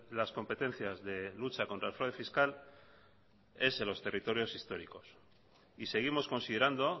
las competencias de lucha contra el fraude fiscal es en los territorios históricos y seguimos considerando